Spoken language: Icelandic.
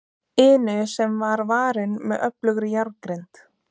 inu sem var varin með öflugri járngrind.